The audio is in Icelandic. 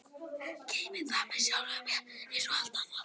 Geymi það með sjálfri mér einsog allt annað.